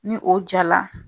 Ni o ja la.